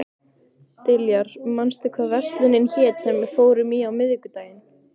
Diljar, manstu hvað verslunin hét sem við fórum í á miðvikudaginn?